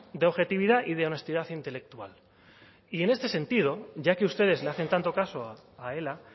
de objetividad y de honestidad intelectual y en este sentido ya que ustedes le hacen tanto caso a ela